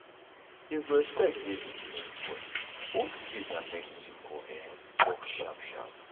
if respect dey between everybody both faith and medicine go um work sharp sharp.